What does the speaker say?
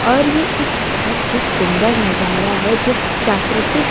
और यह एक बहुत ही सुंदर नजारा है जो प्राकृतिक--